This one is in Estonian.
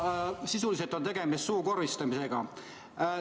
Sisuliselt on tegemist suukorvistamisega.